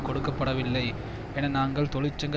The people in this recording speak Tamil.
கொடுக்க படவில்லை என நாங்கள் தொழிற்சங்க